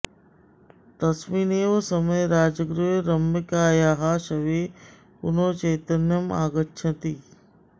तस्मिन् एव समये राजगृहे रम्यकायाः शवे पुनः चैतन्यम् आगच्छति